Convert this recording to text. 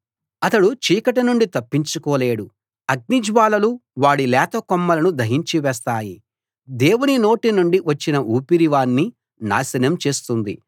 అతడు చీకటి నుండి తప్పించుకోలేడు అగ్నిజ్వాలలు వాడి లేత కొమ్మలను దహించివేస్తాయి దేవుని నోటి నుండి వచ్చిన ఊపిరి వాణ్ణి నాశనం చేస్తుంది